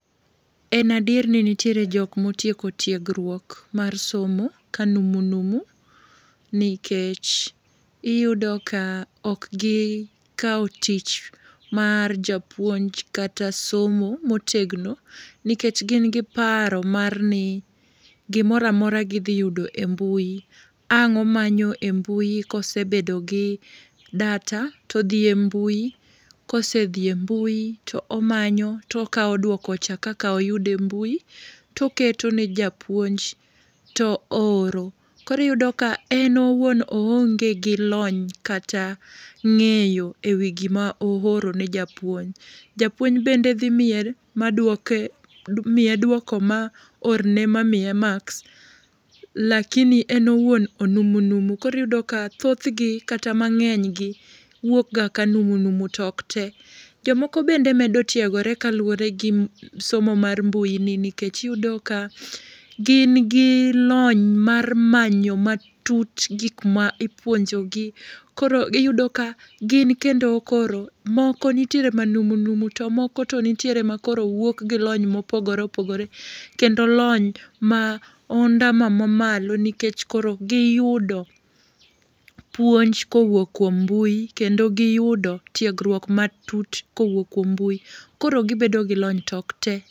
En adier ni nitiere jokma otieko tiegruok mar somo ka numu numu, nikech iyudo ka ok gi kawo tich mar japuonj kata somo motegno, nikech gin gi paro mar ni gimoro amora gidhi yudo e mbui. Ang' omanyo e mbui ka osebedo gi data to odhi e mbui. Ka osedhi e mbui to omanyo, to okawo duoko cha kaka oyude e mbui to oketo ne japuonj to ooro. Koro iyudo ka, en owuon oonge gi lony kata ngéyo e wi gima oorone japuonj. Japuonj bende dhi miel, ma duoke, miye duoko, ma orne, ma miye marks, lakini en owuon onumu numu. Koro iyudo ka thothgi, kata mangénygi wuok ga ka numu numu, to ok te. Jomoko bende medo tiegore kaluwore gi somo mar mbui ni. Nikech iyudo ka, gin gi lony mar manyo matut gik ma ipuonjogi. Koro iyudo ka, gin kendo koro moko nitiere manumu numu, to moko nitiere ma koro wuok gi lony mopogore opogore. Kendo lony ma ondamo ma malo nikech koro giyudo puonj kowuok kuom mbui. Kendo giyudo tiegruok ma tut kowuok kuom mbui. Koro gibedo gi lony to ok te.